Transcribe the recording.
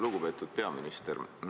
Lugupeetud peaminister!